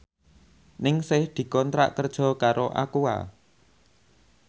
Ningsih dikontrak kerja karo Aqua